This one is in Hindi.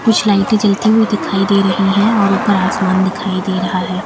कुछ लाइटें जलती हुई दिखाई दे रही हैं और ऊपर आसमान दिखाई दे रहा है।